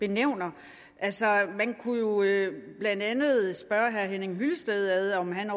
nævner altså man kunne jo blandt andet spørge herre henning hyllested om han